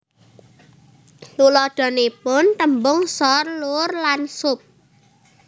Tuladhanipun tèmbung sor lur lan sup